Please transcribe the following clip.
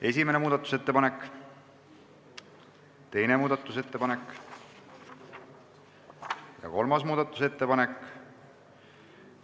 Esimene muudatusettepanek, teine muudatusettepanek ja kolmas muudatusettepanek.